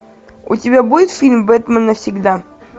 у тебя будет фильм бэтмен навсегда